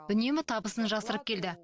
үнемі табысын жасырып келді